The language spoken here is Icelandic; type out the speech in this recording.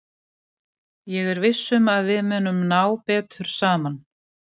Ég er viss um að við munum ná betur saman.